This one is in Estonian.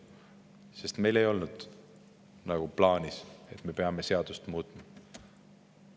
Sest meil ei olnud plaanis seadust muuta.